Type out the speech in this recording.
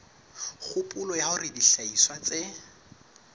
kgopolo ya hore dihlahiswa tse